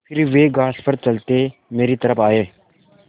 फिर वे घास पर चलते मेरी तरफ़ आये